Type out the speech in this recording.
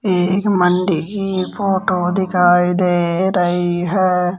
एक मंडी की फोटो दिखाई दे रही है।